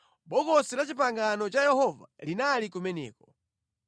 Bokosi la Chipangano cha Yehova linali kumeneko.